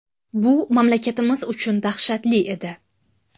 Bu mamlakatimiz uchun dahshatli edi.